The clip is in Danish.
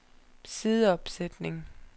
sideopsætning